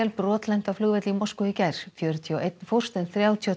brotlenti á flugvelli í Moskvu í gær fjörutíu og ein fórst en þrjátíu og